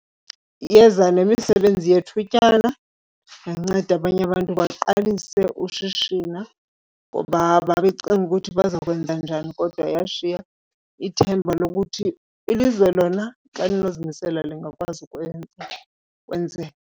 Yeza nemisebenzi yethutyana, yanceda abanye abantu baqalise ushishina ngoba babecinga ukuthi baza kwenza njani, kodwa yashiya ithemba lokuthi ilizwe lona xa linozimisela lingakwazi ukwenza kwenzeke.